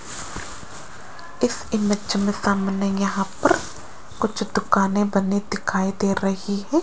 इस इमेज मे सामने यहां पर कुछ दुकानें बनी दिखाई दे रही है।